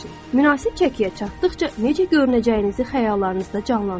Münasib çəkiyə çatdıqca necə görünəcəyinizi xəyallarınızda canlandırın.